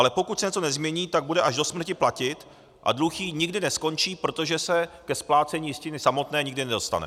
Ale pokud se něco nezmění, tak bude až do smrti platit a dluh jí nikdy neskončí, protože se ke splácení jistiny samotné nikdy nedostane.